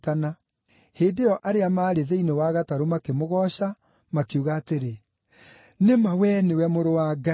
Hĩndĩ ĩyo arĩa maarĩ thĩinĩ wa gatarũ makĩmũgooca, makiuga atĩrĩ, “Nĩ ma wee nĩwe Mũrũ wa Ngai.”